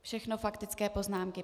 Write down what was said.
Všechno faktické poznámky.